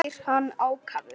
spyr hann ákafur.